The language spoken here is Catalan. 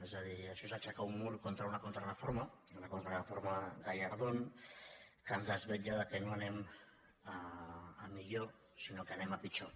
és a dir això és aixecar un mur contra una contrareforma la contrareforma gallardón que ens desvetlla del fet que no anem a millor sinó que anem a pitjor